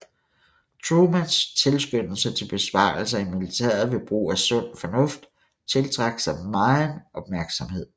Trumans tilskyndelse til besparelser i militæret ved brug af sund fornuft tiltrak sig megen opmærksomhed